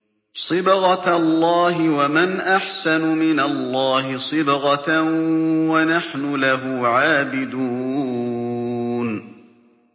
صِبْغَةَ اللَّهِ ۖ وَمَنْ أَحْسَنُ مِنَ اللَّهِ صِبْغَةً ۖ وَنَحْنُ لَهُ عَابِدُونَ